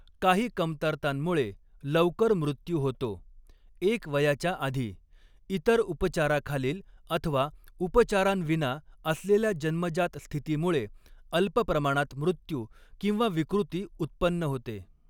काही कमतरतांमुळे लवकर मृत्यू होतो एक वयाच्या आधी, इतर उपचाराखालील अथवा उपचारांविना असलेल्या जन्मजात स्थितीमुळे अल्प प्रमाणात मृत्यू किंवा विकृती उत्पन्न होते.